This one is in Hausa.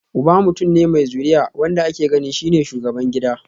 Uba mutum ne mai zuriya, wanda ake ganin shi ne shugaban gida